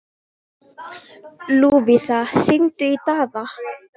Lúvísa, hringdu í Daða.